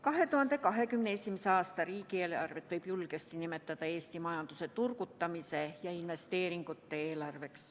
2021. aasta riigieelarvet võib julgesti nimetada Eesti majanduse turgutamise ja investeeringute eelarveks.